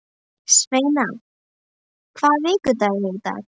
Sveina, hvaða vikudagur er í dag?